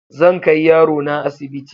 Zan kai yarona asibiti.